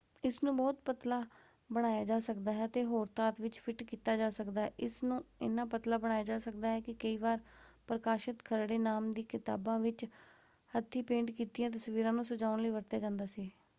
ਇਸਨੂੰ ਬਹੁਤ ਪਤਲਾ ਬਣਾਇਆ ਜਾ ਸਕਦਾ ਹੈ ਅਤੇ ਹੋਰ ਧਾਤ ਵਿੱਚ ਫਿੱਟ ਕੀਤਾ ਜਾ ਸਕਦਾ ਹੈ। ਇਸ ਨੂੰ ਇੰਨਾ ਪਤਲਾ ਬਣਾਇਆ ਜਾ ਸਕਦਾ ਹੈ ਕਿ ਕਈ ਵਾਰ ਪ੍ਰਕਾਸ਼ਤ ਖਰੜੇ ਨਾਮ ਦੀ ਕਿਤਾਬਾਂ ਵਿੱਚ ਹੱਥੀਂ-ਪੇਂਟ ਕੀਤੀਆਂ ਤਸਵੀਰਾਂ ਨੂੰ ਸਜਾਉਣ ਲਈ ਵਰਤਿਆ ਜਾਂਦਾ ਸੀ।